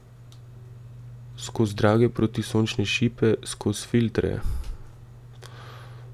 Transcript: Skoz drage protisončne šipe, skoz filtre.